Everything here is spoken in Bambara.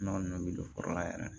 Nɔnɔ min bɛ don foro la yɛrɛ